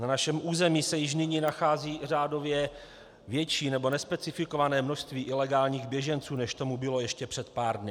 Na našem území se již nyní nachází řádově větší nebo nespecifikované množství ilegálních běženců, než tomu bylo ještě před pár dny.